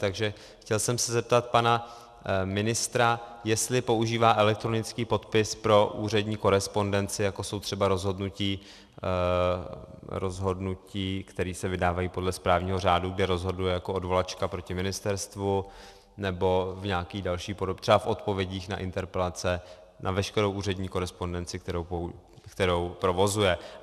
Takže chtěl jsem se zeptat pana ministra, jestli používá elektronický podpis pro úřední korespondenci, jako jsou třeba rozhodnutí, která se vydávají podle správního řádu, kdy rozhoduje jako odvolačka proti ministerstvu, nebo v nějaké další podobě, třeba v odpovědích na interpelace, na veškerou úřední korespondenci, kterou provozuje.